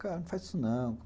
Cara, não faz isso não.